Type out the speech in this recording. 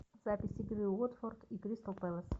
запись игры уотфорд и кристал пэлас